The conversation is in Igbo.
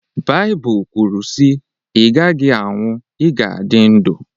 Baịbụl kwuru sị “Ị gaghị anwụ, ị ga-adị ndụ